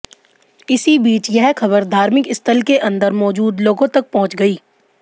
इसी बीच यह खबर धार्मिक स्थल के अंदर मौजूद लोगों तक पहुंच गई